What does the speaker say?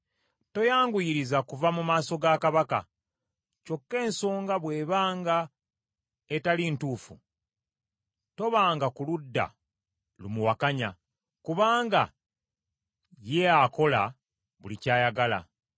Toyanguyiriza kuva mu maaso ga kabaka. Kyokka ensonga bw’ebanga etali ntuufu, tobanga ku ludda lumuwakanya, kubanga ye akola buli ky’ayagala.